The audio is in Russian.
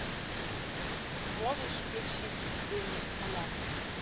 можешь включить сыны анархии